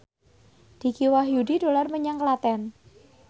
Dicky Wahyudi dolan menyang Klaten